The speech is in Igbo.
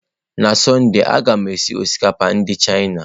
N'sọnde, a ga m esi osikapa ndị Chịana.